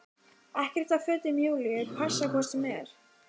Ekkert af fötum Júlíu passi hvort sem er.